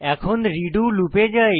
এখন রেডো লুপে যাই